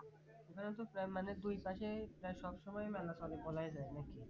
এখানে তো প্রায় মানে দুইপাশে প্রায় সব সময় মেলা চলে বলাই যায় নাকি